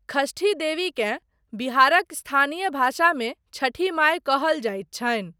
षष्ठी देवीकेँ बिहारक स्थानीय भाषामे छठि माय कहल जाइत छनि।